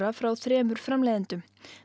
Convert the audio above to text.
frá þremur framleiðendum